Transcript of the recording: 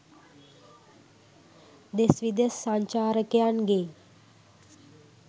දෙස් විදෙස් සංචාරකයන් ගේ